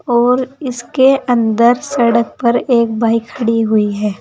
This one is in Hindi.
और इसके अंदर सड़क पर एक बाइक खड़ी हुई है।